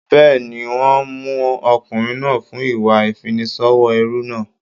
Bẹ́ẹ̀ni, wọ́n ń mú ọkùnrin náà fún ìwà ìfiniṣòwò ẹrú náà.